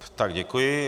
Tak děkuji.